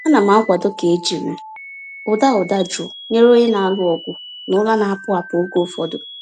Ana m akwado ka e jiri ụda ụda jụụ nyere onye na-alụ ọgụ na ụra na-apụ apụ oge ụfọdụ.